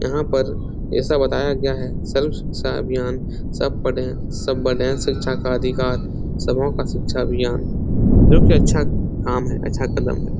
यहाँ पर ऐसा बताया गया है सब सर्व शिक्षा अभियान सब पढ़े सब बढ़े शिक्षा का अधिकार सबो का शिक्षा अभियान जो की अच्छा काम है अच्छा कदम है।